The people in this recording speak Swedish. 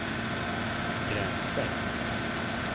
gränser